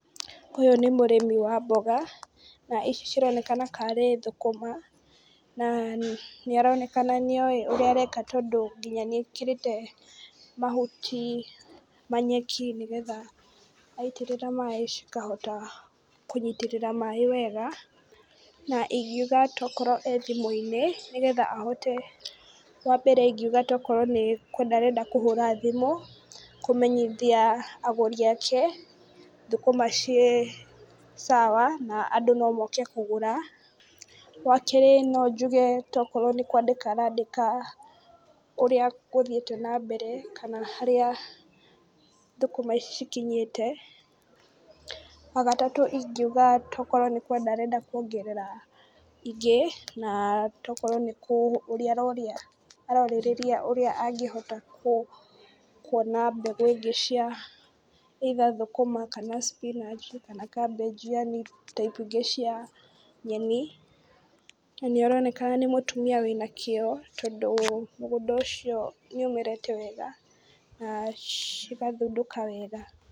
Ũyũ nĩ mũrĩmi wa mboga, na ici cironekana karĩ thũkũma. Na nĩ aronekana nĩoĩ ũrĩa areka tondũ nginya nĩ ekĩrĩte mahuti, manyeki nĩ getha aitĩrĩra maĩ cikahota kũnyitĩrĩra maĩ wega, na ingiuga tokorwo e thimũ-inĩ, nĩ getha ahote, wa mbere ingiuga tokorwo nĩ kwenda arenda kũhũra thimũ, kũmenyithia agũri ake thũkũma ciĩ sawa na andũ no moke kũgũra. Wa kerĩ no njuge tokorwo nĩ kwandĩka arandĩka ũrĩa gũthiĩte na mbere kana harĩa thũkũma ici cikinyĩte. Wa gatatũ ingiuga tokorwo nĩ kwenda arenda kuongerera ingĩ, na tokorwo nĩ kũria aroria arorĩrĩria ũrĩa angĩhota kũona mbegũ ĩngĩ cia either thũkũma, kana spinach, kana cabbage yani type ingĩ cia nyeni. Na nĩ aronekana nĩ mũtumia wĩna kĩo tondũ mũgũnda ũcio nĩ ũmerete wega na cigathundũka wega.